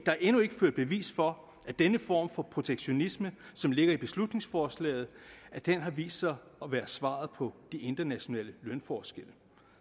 er endnu ikke ført bevis for at den form for protektionisme som ligger i beslutningsforslaget har vist sig at være svaret på de internationale lønforskelle